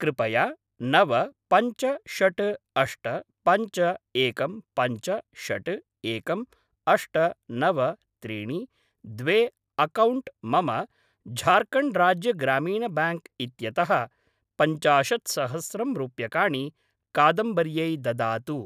कृपया नव पञ्च षड् अष्ट पञ्च एकं पञ्च षड् एकं अष्ट नव त्रीणि द्वे अक्कौण्ट् मम झार्खण्ड् राज्य ग्रामिन ब्याङ्क् इत्यतः पञ्चाशत्सहस्रं रूप्यकाणि कादम्बर्यै ददातु।